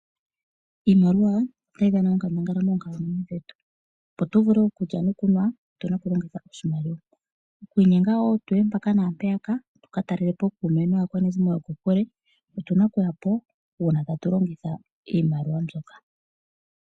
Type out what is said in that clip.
Iimaliwa otayi dhana onkandangala moonkalamwenyo dhetu, opo tuvule okulya nokunwa otuna oku longitha oshimaliwa. Okwi inkenga wo tuye mpaka na mpeyaka tu ka talele po ookume naakwanezimo yo kokule otuna okuya po uuna tatu longitha iimaliwa mbyoka.